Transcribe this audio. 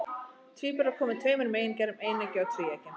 Tvíburar koma í tveimur megingerðum, eineggja og tvíeggja.